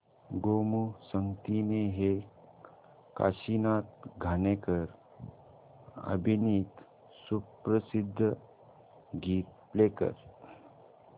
गोमू संगतीने हे काशीनाथ घाणेकर अभिनीत सुप्रसिद्ध गीत प्ले कर